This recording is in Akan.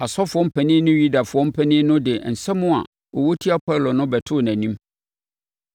Asɔfoɔ mpanin ne Yudafoɔ mpanin no de nsɛm a wɔwɔ tia Paulo no bɛtoo nʼanim.